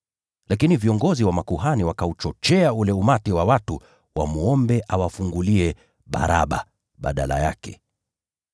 Lakini viongozi wa makuhani wakauchochea ule umati wa watu wamwombe awafungulie Baraba badala yake.